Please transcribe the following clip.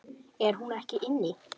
Er hún ekki inni?